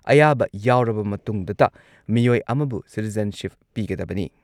ꯑꯌꯥꯕ ꯌꯥꯎꯔꯕ ꯃꯇꯨꯡꯗꯇ ꯃꯤꯑꯣꯏ ꯑꯃꯕꯨ ꯁꯤꯇꯤꯖꯦꯟꯁꯤꯞ ꯄꯤꯒꯗꯕꯅꯤ꯫